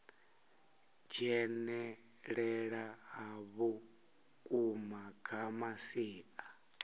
dzhenelela ha vhukuma kha masia